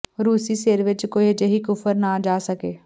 ਰੂਸੀ ਸਿਰ ਵਿਚ ਕੋਈ ਅਜਿਹੀ ਕੁਫ਼ਰ ਨਾ ਜਾ ਸਕੇ